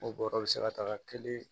O bɔrɔ bɛ se ka taga kelen